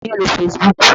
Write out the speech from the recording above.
Ta ni ó ń lo Facebook?